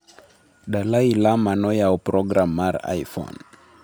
Dalai Lama noyawo program mar iPhone